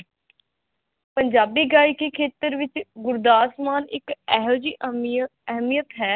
ਪੰਜਾਬੀ ਗਾਇਕੀ ਖੇਤਰ ਵਿਚ ਗੁਰਦਾਸ ਮਾਨ ਇਕ ਇਹੋਜੀ ਅਹਿਮੀ ਅਹਿਮੀਅਤ ਹੈ